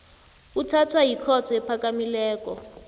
uthathwa yikhotho ephakamileko